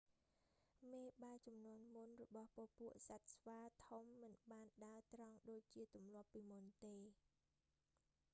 មេបាជំនាន់មុនរបស់ពពួកសត្វស្វាធំមិនបានដើរត្រង់ដូចជាទម្លាប់ពីមុនទេ